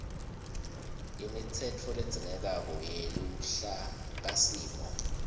imitsetfo ledzingekako yeluhlakasimo